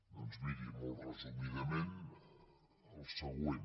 doncs miri molt resumidament el següent